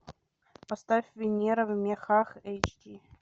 поставь венера в мехах эйч ди